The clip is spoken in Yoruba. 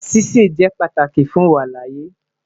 Sise jẹ pataki fun iwalaaye